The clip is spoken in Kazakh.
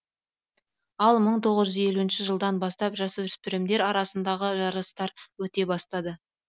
ал мың тоғыз жүз елуініші жылдан бастап жасөспірімдер арасындағы жарыстар өте бастады